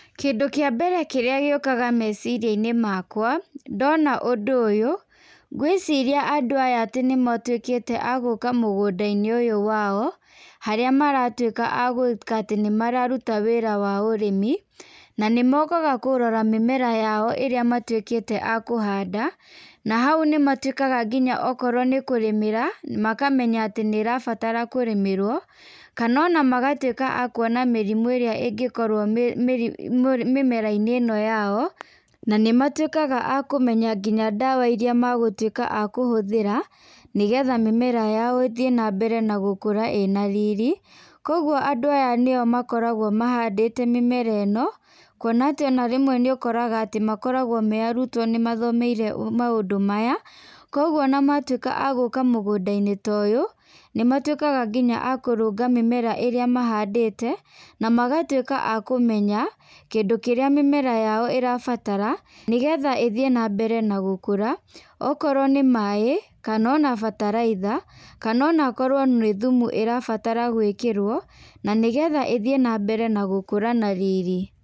Kĩndũ kĩa mbere kĩrĩa gĩũkaga meciria-inĩ makwa, ndona ũndũ ũyũ , ngwĩciria andũ aya atĩ nĩmatwĩkĩte agũka mũgũnda-inĩ ũyũ wao, harĩa maratwĩka agwĩka atĩ nĩmararuta wĩra wa ũrĩmi ,na nĩ mokaga kũrora mĩmera yao ĩrĩa matwĩkĩte akũhanda, na hau nĩmatwĩkaga nginya okorwo nĩkũrĩmĩra, makamenya atĩ nĩ ĩrabatara kũrĩmĩrwo, kana ona magatwĩka akuona mĩrimũ ĩrĩa ĩngĩkorwo mĩ mu mĩmera-inĩ ĩno yao, na nĩ matwĩkaga akũmenya nginya dawa iria magũtwĩka akũhũthĩra, nĩgetha mĩmera yao ĩthiĩ na mbere na gũkũra ĩna riri, kũgwo andũ aya nĩo makoragwo mahandĩte mĩmera ĩno, kuona atĩ ona rĩmwe nĩ ũkoraga atĩ makoragwo me arutwo , nĩ mathomeire maũndũ maya, kũgwo ona matwĩka agũka mũgũnda-inĩ ta ũyũ, nĩ matwĩkaga nginya akũrũnga mĩmera ĩrĩa mahandĩte, na magatwĩka akũmenya kĩndũ kĩrĩa mĩmera yao ĩrabatara nĩgetha ĩthiĩ na mbere na gũkũra , okorwo nĩ maaĩ ,kana ona bataraitha, kana ona okorwo nĩ thumu ĩrabatara gwĩkĩrwo, na nĩgetha ĩthiĩ na mbere na gũkũra na riri.